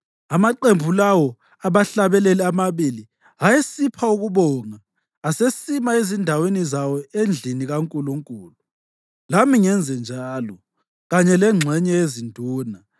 Amaqembu lawo abahlabeleli amabili ayesipha ukubonga asesima ezindaweni zawo endlini kaNkulunkulu; lami ngenze njalo, kanye lengxenye yezinduna,